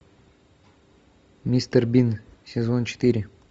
мистер бин сезон четыре